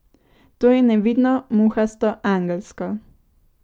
To je nevidno, muhasto, angelsko.